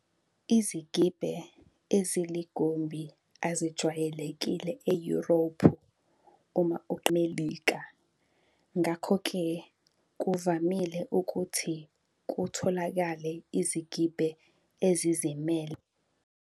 Izigibe eziligumbhi azijwayelekile eYurophu uma uqhathanisa naseMelika, ngakho-ke, kuvamile ukuthi kutholakale izigibe ezizimele eYurophu.